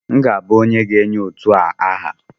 M ga-abụ onye ga-enye otu a aha